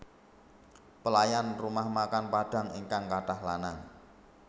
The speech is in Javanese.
Pelayan rumah makan Padang ingkang katah lanang